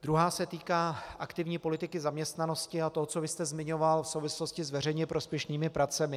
Druhá se týká aktivní politiky zaměstnanosti a toho, co vy jste zmiňoval v souvislosti s veřejně prospěšnými pracemi.